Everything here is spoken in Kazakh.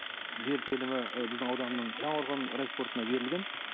жер телімі біздің ауданның жаңақорғанның райспортына берілген